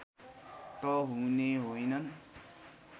त हुने होइनन्